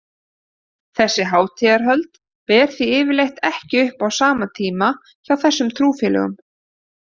Þessi hátíðahöld ber því yfirleitt ekki upp á sama tíma hjá þessum trúfélögum.